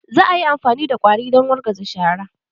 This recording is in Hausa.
Za a yi amfani da ƙwari don wargaza shara.